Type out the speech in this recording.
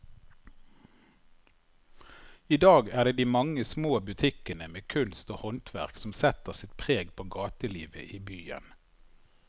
I dag er det de mange små butikkene med kunst og håndverk som setter sitt preg på gatelivet i byen.